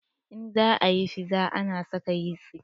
In za a yi fiza ana saka yisti